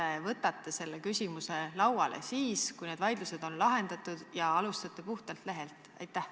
Ehk te võtate selle muudatuse lauale siis, kui need vaidlused on lahendatud, ja alustate puhtalt lehelt?